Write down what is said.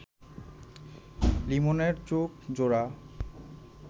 লিমনের চোখজোড়া